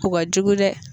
O ka jugu dɛ